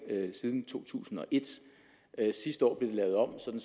siden to tusind og et sidste år blev det lavet om sådan